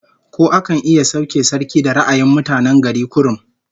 Ko akan iya sauke sarki da ra'ayin mutane gari kurum?